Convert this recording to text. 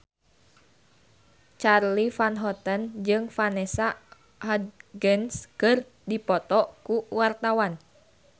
Charly Van Houten jeung Vanessa Hudgens keur dipoto ku wartawan